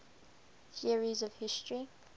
theories of history